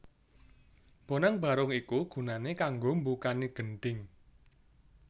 Bonang Barung iku gunané kanggo mbukani Gendhing